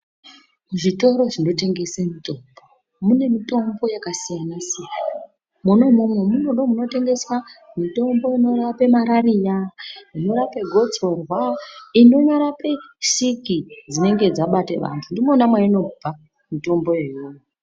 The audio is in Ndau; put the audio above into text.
Zvitoro zvinotengese mutombo mune mitombo yakasiyana-siyana, mwona imwomwo ndimwo munotengeswa mitombo inorape marariya, inorape gotsorwa, inonyarape siki dzinenge dzabata vantu ndimwona mwainobva mitombo iyoyo.